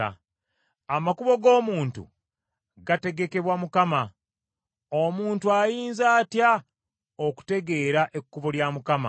Amakubo g’omuntu gategekebwa Mukama , omuntu ayinza atya okutegeera ekkubo lya Mukama ?